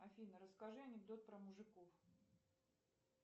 афина расскажи анекдот про мужиков